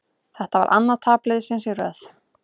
Þetta var annað tap liðsins í röð.